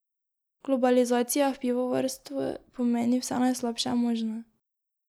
Globalizacija v pivovarstvu pomeni vse najslabše možno.